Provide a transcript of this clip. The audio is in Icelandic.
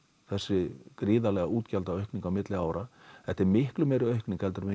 þessi gríðarlega útgjaldaaukning á milli ára þetta er miklu meiri aukning en við